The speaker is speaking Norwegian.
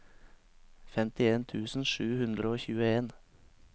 femtien tusen sju hundre og tjueen